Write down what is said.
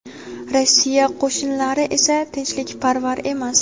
Rossiya qo‘shinlari esa tinchlikparvar emas.